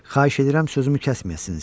Xahiş edirəm sözümü kəsməyəsiniz.